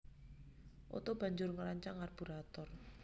Otto banjur ngrancang karburator